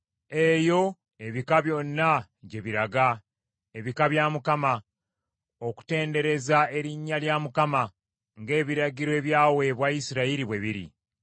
Eyo ebika byonna gye biraga, ebika bya Mukama , okutendereza erinnya lya Mukama ng’ebiragiro ebyaweebwa Isirayiri bwe biri.